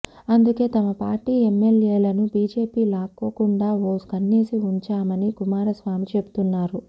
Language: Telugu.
అందుకే తమ పార్టీ ఎమ్మెల్యేలను బీజేపీ లాక్కోకుండా ఓ కన్నేసి ఉంచామని కుమారస్వామి చెబుతున్నారు